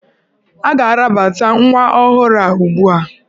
Ị ga-arabata nwa ọhụrụ a ugbu a!